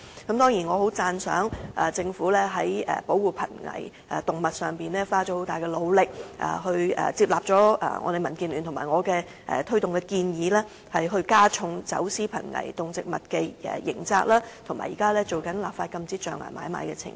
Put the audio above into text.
不過，我十分讚賞政府在保護瀕危動物方面花了很大努力，接納了民建聯和我推動的建議，加重走私瀕危動植物的刑責，以及現正進行立法禁止象牙買賣的程序。